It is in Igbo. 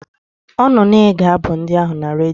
Ọ nọ na-ege abụ ndị ahụ na redio.